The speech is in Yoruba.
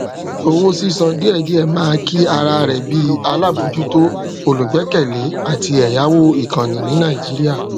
owó sísan díẹdíẹ máa ki ara rẹ bíi alábòójútó olùgbẹkẹlé àti ẹyáwó ìkànnì ní nàìjíríà